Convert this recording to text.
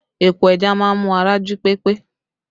Epo ẹja má ń mú ara jí pé pé